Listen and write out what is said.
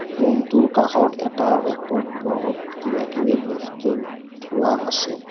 Room টোৰ কাষত এটা ৰেক ত বহুত কিবা কিবি বস্তু থোৱা আছে।